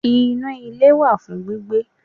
Inú ilé wà fún gbígbé